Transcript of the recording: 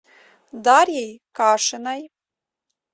дарьей кашиной